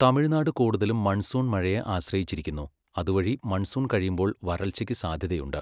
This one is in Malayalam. തമിഴ്നാട് കൂടുതലും മൺസൂൺ മഴയെ ആശ്രയിച്ചിരിക്കുന്നു, അതുവഴി മൺസൂൺ കഴിയുമ്പോൾ വരൾച്ചയ്ക്ക് സാധ്യതയുണ്ട്.